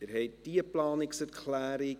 Sie haben diese Planungserklärung